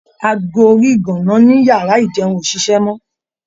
Ago orí ìgàǹǹá ní iyàrá ìjeun ò ṣiṣẹ́ mọ́.